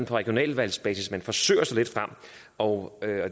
regionalvalgsbasis man forsøger sig lidt frem og